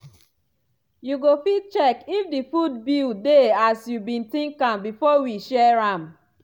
you go fit check if di food bill dey as you been think am before we share am?